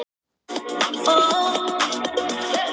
Ég er í þrjá tíma á dag.